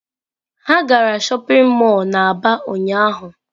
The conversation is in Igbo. Ha gara shopping mall na aba ụnyahụ.